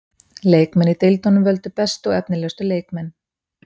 Leikmenn í deildunum völdu bestu og efnilegustu leikmenn.